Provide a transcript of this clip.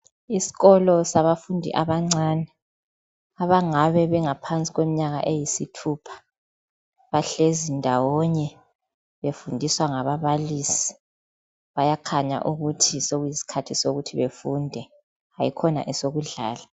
Isikolo sabafundi abancane, abangabe bengaphansi kweminyaka eyisithupha, bahlezi ndawonye befundiswa ngababalisi. Bayakhanya ukuthi sokuyiskhathi sokuthi bafunde hayi-khona esokudlala.